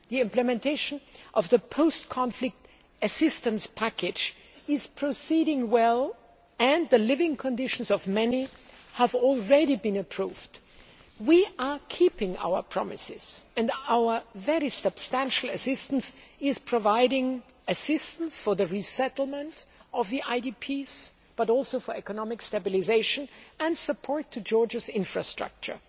The implementation of the post conflict assistance package is proceeding well and the living conditions of many have already been improved. We are keeping our promises, and our very substantial assistance is providing assistance for the resettlement of the IDPs, but also for economic stabilisation and support to Georgia's infrastructure.